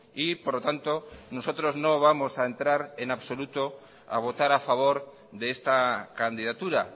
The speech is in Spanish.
y por lo tanto nosotros no vamos a entrar en absoluto a votar a favor de esta candidatura